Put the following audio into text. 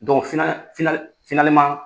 fina fina